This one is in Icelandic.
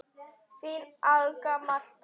Þín Agla Marta.